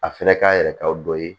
A fɛnɛ k'a yɛrɛ ka dɔ ye